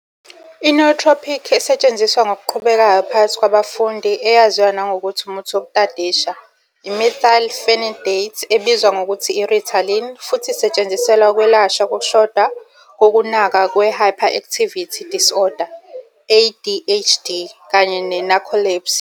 I-nootropic esetshenziswa ngokuqhubekayo phakathi kwabafundi, eyaziwa nangokuthi "umuthi wokutadisha", i- methylphenidate ebizwa ngokuthi i- "Ritalin" futhi isetshenziselwa ukwelashwa kokushoda kokunakwa kwe-hyperactivity disorder, ADHD, kanye ne- narcolepsy.